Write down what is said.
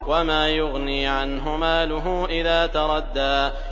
وَمَا يُغْنِي عَنْهُ مَالُهُ إِذَا تَرَدَّىٰ